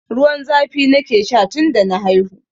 Ruwan zafi nake sha tun da na haihu.